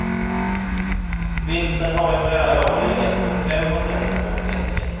Vinsten har i flera år legat runt fem procent av omsättningen.